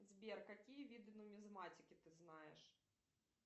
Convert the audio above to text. сбер какие виды нумизматики ты знаешь